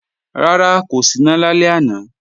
Rárá, kò síná lálẹ́ àná